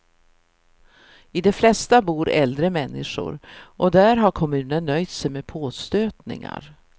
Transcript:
I de flesta bor äldre människor, och där har kommunen nöjt sig med påstötningar.